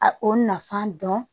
A o nafan dɔn